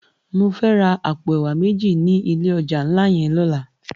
Mò fè rá àpó èwá méji ni ilé òjá nlá yèn lòlá